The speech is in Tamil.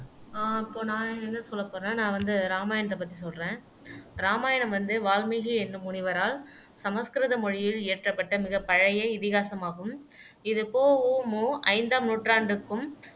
ஆஹ் இப்போ நான் என்ன சொல்ல போறேன்னா நான் வந்து ராமாயணத்தை பத்தி சொல்லுறேன் இராமாயணம் வந்து வால்மீகி என்னும் முனிவரால் சமஸ்கிருத மொழியில் இயற்றப்பட்ட மிகப் பழைய இதிகாசமாகும் இது பொ ஊ மு ஐந்தாம் நூற்றாண்டுக்கும்